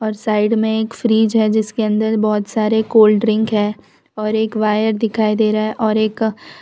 और साइड मे एक फ्रिज है जिसके अंदर बहोत सारे कोल्ड ड्रिंक है और एक वायर दिखाई दे रहा है और एक--